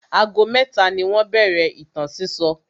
Ago mẹ́ta ni wọ́n bẹ̀rẹ̀ ìtàn sísọ.